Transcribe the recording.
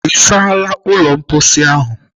Ị saala ụlọ mkposi ahụ?